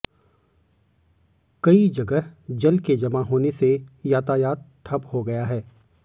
कई जगह जल के जमा होने से यातायात ठप हो गया है